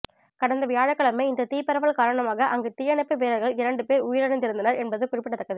கடந்த வியாழக்கிழமை இந்த தீப்பரவல் காரணமாக அங்கு தீயணைப்பு வீரர்கள் இரண்டு பேர் உயிரிழந்திருந்தனர் என்பது குறிப்பிடத்தக்கது